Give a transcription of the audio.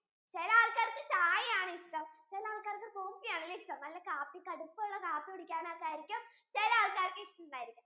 ചിലെ ആൾക്കാർക്ക് ചായ ആണ് ഇഷ്ടം ചിലെ ആൾക്കാർക്ക് coffee ആണല്ലേ ഇഷ്ടം നല്ല കാപ്പി കടുപ്പം ഉള്ള കാപ്പി കുടിക്കാൻ ആയിരിക്കും ചിലെ ആൾക്കാർക്ക് ഇഷ്ടം ഉണ്ടായിരിക്കുന്നത്